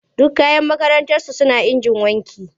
Duk kayan makarantarsu suna injin wanki.